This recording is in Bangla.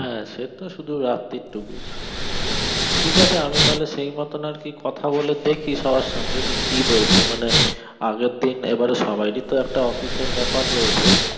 হ্যাঁ সেতো শুধু রাতের টুকু ঠিক আছে আমি তাহলে সেই মতন আরকি কথা বলে দেখি সবার সঙ্গে কি বলছে মানে আগের দিন এবারে সবাড়ির তো একটা office এর ব্যাপার রয়েছে